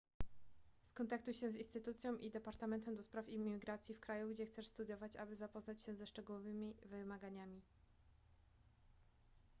skontaktuj się z instytucją i departamentem ds imigracji w kraju gdzie chcesz studiować aby zapoznać się ze szczegółowymi wymaganiami